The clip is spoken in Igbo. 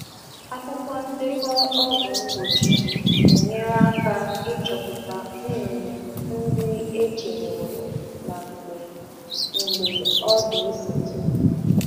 Ndekọ mgbasa ọgwụ na-enyere aka ileba anya anụ ọkụkọ e chebere na oge mgbasa ọzọ.